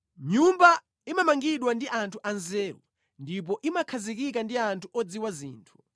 Nyumba imamangidwa ndi anthu anzeru, ndipo imakhazikika ndi anthu odziwa zinthu;